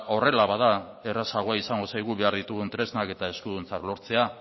horrela bada errazago izango zaigu behar ditugun tresnak eta eskuduntza lortzea